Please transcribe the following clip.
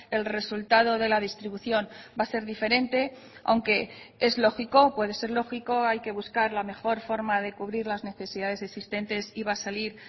el resultado de la distribución va a ser diferente aunque es lógico puede ser lógico hay que buscar la mejor forma de cubrir las necesidades existentes y va a salir